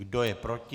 Kdo je proti?